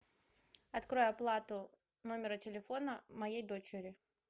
открой оплату номера телефона моей дочери